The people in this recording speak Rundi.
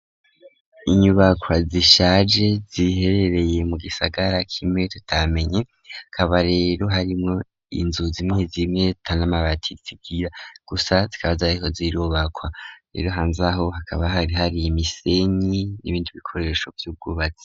Inyubaka zishaje ziherereye mu gisagara k'imwe tutamenye, hakaba rero harimo inzu zimwe zimwe atanamabati zigira gusa zikaba zariko zirubakwa, rero hanzaho hakaba hari hari imisenyi n'ibindi bikoresho vy'ubwubatsi.